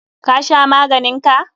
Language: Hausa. Ka sha maganin ka?